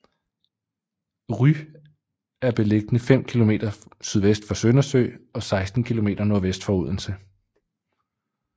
Rue er beliggende fem kilometer sydvest for Søndersø og 16 kilometer nordvest for Odense